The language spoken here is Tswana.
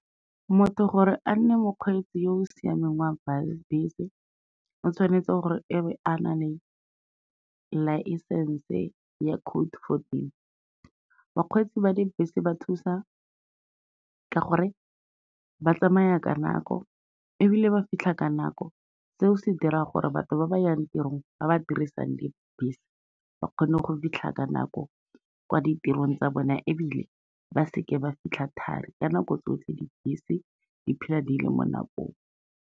Motho gore a nne mokgweetsi yo o siameng wa bese, o tshwanetse gore e be a na le licence-e ya code fourteen. Bakgweetsi ba dibese ba thusa ka gore ba tsamaya ka nako ebile ba fitlha ka nako, seo se dira gore batho ba ba yang tirong ba ba dirisang dibese, ba kgone go fitlha ka nako kwa ditirong tsa bone ebile ba seke ba fitlha thari, ka nako tsotlhe dibese di phela di le mo nakong.